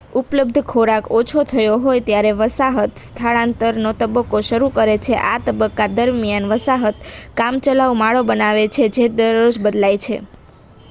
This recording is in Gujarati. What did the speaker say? ઉપલબ્ધ ખોરાક ઓછો થયો હોય ત્યારે વસાહત સ્થળાંતરનો તબક્કો શરૂ કરે છે આ તબક્કા દરમિયાન વસાહત કામચલાઉ માળો બનાવે છે જે દરરોજ બદલાઈ જાય